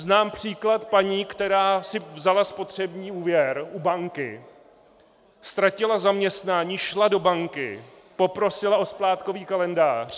Znám příklad paní, která si vzala spotřební úvěr u banky, ztratila zaměstnání, šla do banky, poprosila o splátkový kalendář.